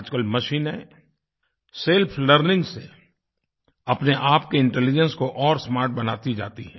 आजकल मशीनें self learning से अपने आप के इंटेलिजेंस को और स्मार्ट बनाती जाती हैं